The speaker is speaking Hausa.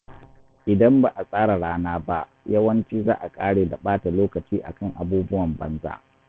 Idan ba a tsara rana ba, yawanci za a ƙare da ɓata lokaci akan abubuwan banza.